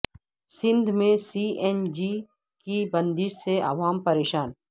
سندھ میں C N G کی بندش سے عوام پریشان